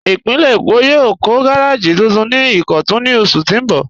Ìpínlẹ̀ Èkó yóò kọ̀ gàràjì tuntun ni Ìkọ̀tun ní ọṣù tó n bọ́.